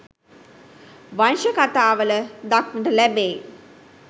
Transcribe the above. වංශ කථාවල දක්නට ලැබෙයි.